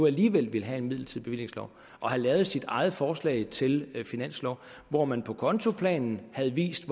alligevel vil have en midlertidig bevillingslov havde lavet sit eget forslag til finanslov hvor man på kontoplanen havde vist